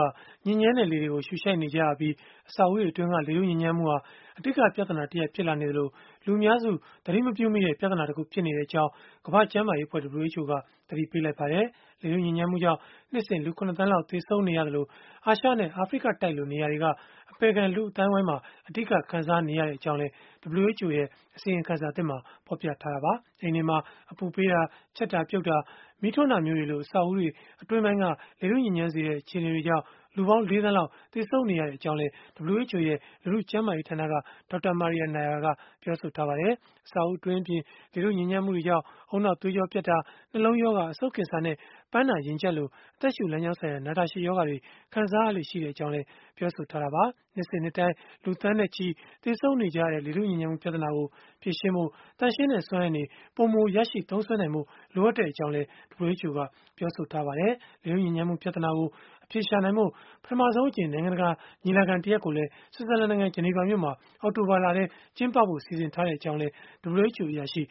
ာ ညစ်ညမ်းတဲ့လေတွေကို ရှုရှိုက်နေကြရပြီး၊ အဆောက်အဦးတွေအတွင်းက လေထုညစ်ညမ်းမှုဟာ အဓိကပြဿနာတရပ် ဖြစ်လာနေသလို၊ လူအများစု သတိမပြုမိတဲ့ ပြဿနာတခု ဖြစ်နေတဲ့အကြောင်း ကမ္ဘာ့ကျန်းမာရေးအဖွဲ့ (WHO) က သတိပေးလိုက်ပါတယ်။ လေထုညစ်ညမ်းမှုကြောင့် နှစ်စဉ်လူ ၇ သန်းလောက် သေဆုံးနေရသလို၊ အာရှနဲ့ အာဖရိကတိုက်လို နေရာတွေက အပယ်ခံလူ့အသိုင်းအဝန်းမှာ အဓိက ခံစားနေရကြောင်းလည်း WHO ရဲ့ အစီရင်ခံစာသစ်က ဖော်ပြခဲ့တာပါ။ အိမ်တွေမှာ အပူပေးတာ၊ ချက်တာပြုတ်တာ၊ မီးထွန်းတာမျိုးတွေလို အဆောက်အဦးတွေ၊ အတွင်းပိုင်းက လေထုညစ်ညမ်းစေတဲ့ အခြေအနေတွေကြောင့် လူပေါင်း ၄ သန်းလောက် သေဆုံးနေရကြောင်းလည်း WHO ရဲ့ လူထုကျန်းမာရေးဌာနက Dr. Maria Neira ကပြောပါတယ်။ အဆောက်အဦး အတွင်းအပြင် လေထုညစ်ညမ်းမှုတွေကြောင့် ဦးနှောက်သွေးကြောပြတ်တာ၊ နှလုံးရောဂါ၊ အဆုတ်ကင်ဆာနဲ့ ပန်းနာရင်ကျပ်လို အသက်ရှုလမ်းကြောင်းဆိုင်ရာ နာတာရှည် ရောဂါတွေ ခံစားရလေ့ရှိကြောင်းလည်း ပြောဆိုထားတာပါ။ နှစ်စဉ်နှစ်တိုင်း လူသန်းနဲ့ချီ သေဆုံးနေရတဲ့ လေထုညစ်ညမ်းမှု ပြဿနာကို ဖြေရှင်းဖို့ သန့်ရှင်းတဲ့ စွမ်းအင်တွေ ပိုမိုရရှိသုံးစွဲနိုင်ဖို့ လိုအပ်ကြောင်းလည်း WHO ကပြောပါတယ်။ လေထုညစ်ညမ်းမှု ပြဿနာကို အဖြေရှာနိုင်ဖို့ ပထမဆုံးအကြိမ် နိုင်ငံတကာ ညီလာခံတရပ်ကိုလည်း ဆွစ်ဇာလန်နိုင်ငံ ဂျနီဗာမြို့မှာ အောက်တိုဘာလထဲ ကျင်းပဖို့ စီစဉ်ထားကြောင်းလည်း WHO အရာရှိ